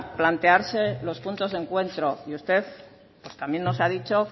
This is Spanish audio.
plantearse los puntos de encuentro y usted también nos ha dicho